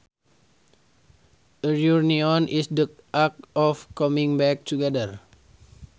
A reunion is the act of coming back together